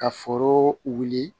Ka foro wuli